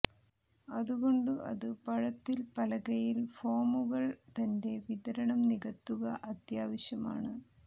അതുകൊണ്ടു അതു പഴത്തിൽ പലകയിൽ ഫോമുകൾ തന്റെ വിതരണം നികത്തുക അത്യാവശ്യമാണ്